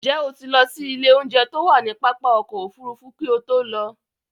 Ǹjẹ́ o ti lọ sí ilé oúnjẹ to wá ní pápá ọkọ̀ Òfurufú kí o tó lọ?